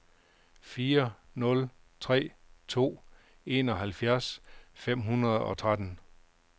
fire nul tre to enoghalvfjerds fem hundrede og tretten